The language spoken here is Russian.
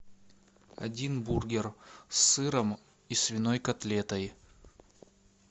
один бургер с сыром и свиной котлетой